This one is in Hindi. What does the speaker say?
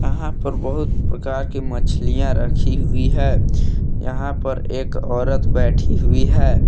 यहां पर बहुत प्रकार की मछलीया रखी हुयी है यहां पर एक औरत बैठी हुयी है।